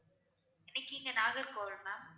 என்னைக்கு இங்க நாகர்கோவில் ma'am